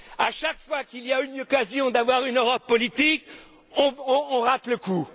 À chaque fois qu'il y a une occasion d'avoir une Europe politique, on rate le coup!